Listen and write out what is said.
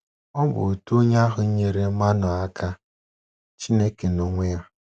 Ọ bụ otu onye ahụ nyeere Manoa aka — Chineke n’onwe ya!